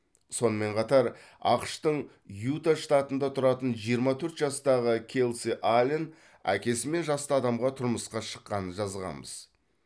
сонымен қатар ақш тың юта штатында тұратын жиырма төрт жастағы келси аллен әкесімен жасты адамға тұрмысқа шыққанын жазғанбыз